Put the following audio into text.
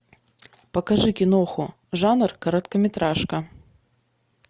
покажи киноху жанр короткометражка